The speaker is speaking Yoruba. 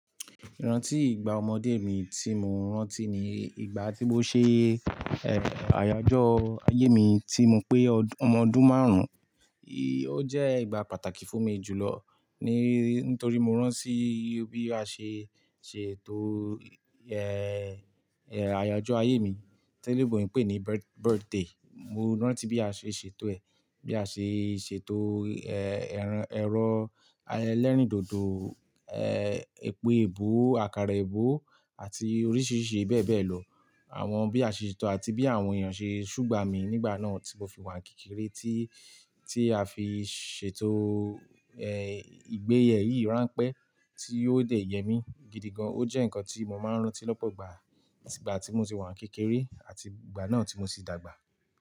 Rántí ìgbà ọmọdé mi tí mo rántí ní ìgbà tí mo ṣe, àyájọ́ ayé mi tí mo pé ọmọdún márùn-ún, ó jẹ́ ìgbà pàtàkì fún mi jùlọ, ni, nítorí mo rántí bí a ṣe ṣètò, àyájọ́ ayé mi, tí eleebo ń pè ní birth-birthday. Mo rántí bí a ṣe ṣètò ẹ̀, bí a ṣe ṣètò, ẹran- ẹ̀rọ ẹlẹ́rìndòdò, eh, èpo èébò, àkàrà èébò àti oríṣìíríṣìí bẹ́ẹ̀ bẹ́ẹ̀ lọ. Àwọn bí a ṣe ṣètò àti bí àwọn èèyàn ṣe ṣúgbà mí nígbà náà tí mo fi wà kékeré tí, tí a fi ṣètò, ìgbéyè yìí ránpẹ́ tí yóò dẹ̀ yẹ mí gidi gan. Ó jẹ́ ǹkan tí mo máa ń rántí lọ́pọ̀ ìgbà, ìgbà tí mo ti wà kékeré àti ìgbà náà tí mo ti dàgbà.